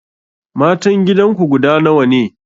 Matan gidanku guda nawa ne?